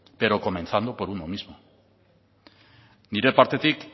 pero comenzando por uno mismo nire partetik